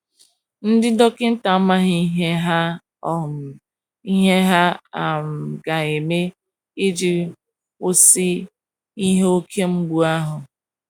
Ndi dọkita amaghị ihe ha um ihe ha um ga - eme iji kwụsị ihe oke mgbụ ahụ.